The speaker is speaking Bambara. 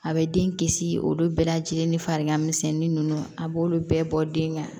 A bɛ den kisi olu bɛɛ lajɛlen ni farigan misɛnni ninnu a b'olu bɛɛ bɔ den ka